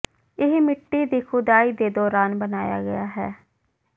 ਇਹ ਮਿੱਟੀ ਦੀ ਖੁਦਾਈ ਦੇ ਦੌਰਾਨ ਬਣਾਇਆ ਗਿਆ ਹੈ